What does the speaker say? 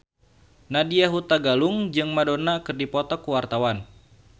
Nadya Hutagalung jeung Madonna keur dipoto ku wartawan